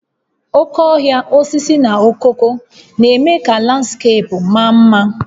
Oke ohia, osisi na okooko na-eme ka landskeepu maa mma